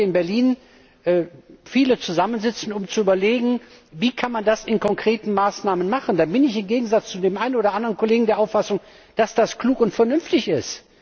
Wenn heute in Berlin viele zusammensitzen, um zu überlegen, wie man das mit konkreten Maßnahmen machen kann, dann bin ich im Gegensatz zu dem einen oder anderen Kollegen der Auffassung, dass das klug und vernünftig ist.